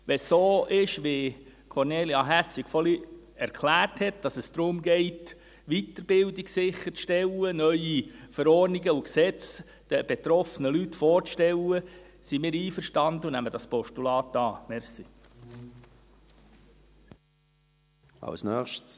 Wenn es so ist, wie Kornelia Hässig vorhin erklärt hat, dass es darum geht, Weiterbildung sicherzustellen, neue Verordnungen und Gesetze den betroffenen Leuten vorzustellen, sind wir einverstanden und nehmen das Postulat an.